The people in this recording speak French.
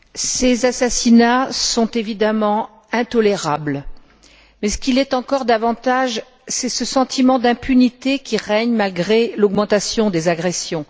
Monsieur le Président, ces assassinats sont évidemment intolérables, mais ce qui l'est encore davantage, c'est ce sentiment d'impunité qui règne malgré l'augmentation des agressions.